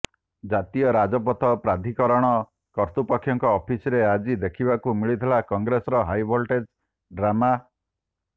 ଜାତୀୟ ରାଜପଥ ପ୍ରାଧିକରଣ କର୍ତୃପକ୍ଷଙ୍କ ଅଫିସରେ ଆଜି ଦେଖିବାକୁ ମିଳିଥିଲା କଂଗ୍ରେସର ହାଇଭୋଲଟେଜ୍ ଡ୍ରାମା